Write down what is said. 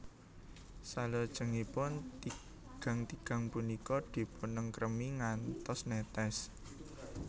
Salajengipun tigan tigan punika dipunengkremi ngantos netes